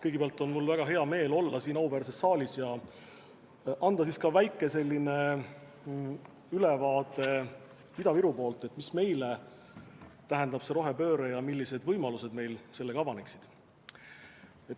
Kõigepealt, mul on väga hea meel olla siin auväärses saalis ja anda väike ülevaade Ida-Virumaalt, mida meile tähendab rohepööre ja millised võimalused meil sellega avaneksid.